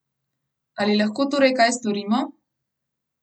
Ali lahko torej kaj storimo?